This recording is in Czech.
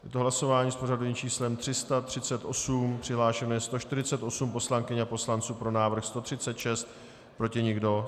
Je to hlasování s pořadovým číslem 338, přihlášeno je 148 poslankyň a poslanců, pro návrh 136, proti nikdo.